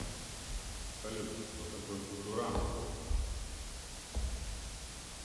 салют кто такой футурама